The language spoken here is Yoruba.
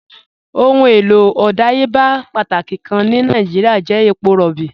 Ọ̀hun èlò ọdàyébà pátákì kàn ni Nàìjíríà jẹ̀ èpọ̀ róbí.